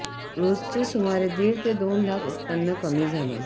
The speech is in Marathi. रोजचे सुमारे दीड ते दोन लाख उत्पन्न कमी झालं